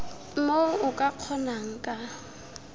moo o ka kgonang ka